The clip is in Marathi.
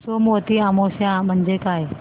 सोमवती अमावस्या म्हणजे काय